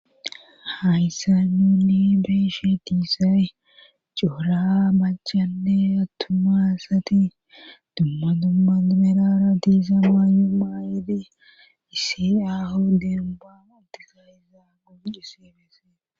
Hayssa nuni beeshe diisay cuura machanne atumasati dumma dumma dimerara diisa maayu maayedi isii aho demba muntika izaa gunqu sibesse